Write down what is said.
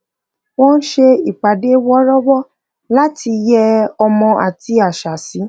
wọn ṣe ìpàdé wọrọwọ láti yẹ ọmọ àti àṣà sí